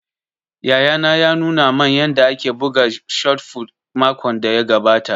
Yayana ya nuna man yanda ake buga shot fut makon da ya gabata